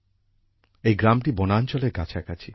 এই গ্রামটি বনাঞ্চলের কাছাকাছি